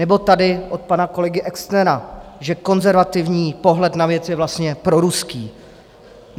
Nebo tady od pana kolegy Exnera, že konzervativní pohled na věc je vlastně proruský.